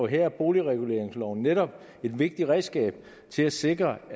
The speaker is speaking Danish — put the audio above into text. her er boligreguleringsloven netop et vigtigt redskab til at sikre